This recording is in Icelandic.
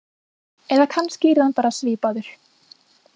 Eða kannski yrði hann bara svipaður.